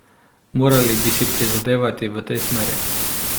Morali bi si prizadevati v tej smeri.